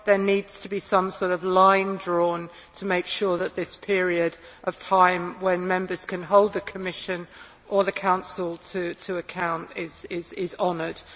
There needs to be some sort of line drawn to make sure that this period of time when Members can hold the Commission or the Council to account is honoured.